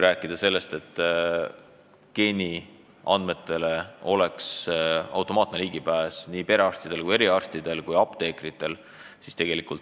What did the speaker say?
Geeniandmetele peaks automaatne ligipääs olema perearstidel, eriarstidel ja ka apteekritel.